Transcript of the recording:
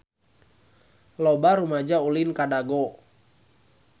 Loba rumaja ulin ka Dago